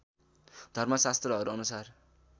धर्म शास्त्रहरू अनुसार